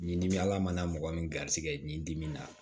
Ni dimi ala mana mɔgɔ min garisigɛ nin dimi na